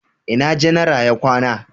ina janara ya kwana?